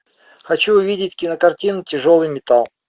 хочу увидеть кинокартину тяжелый металл